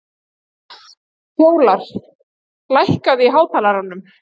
Fjólar, lækkaðu í hátalaranum.